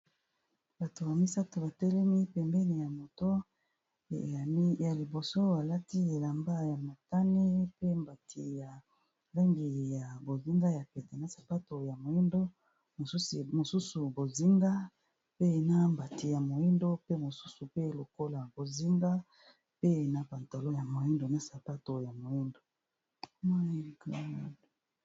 Bato misato, batelemi pembeni ya moto. Ya liboso, alati elamba ya motane pe mbati ya langi ya bozinga, na sapato ya moindo. Mosusu, bozinga pe na mbati ya moindo. Pe mosusu pe lokola bozinga pe na pantalo ya moindo, na sapato ya moindo.